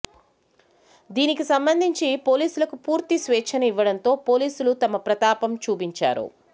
దీనికి సంబంధించి పోలీసులకు పూర్తి స్వేచ్ఛను ఇవ్వడంతో పోలీసులు తమ ప్రతాపం చూపించారు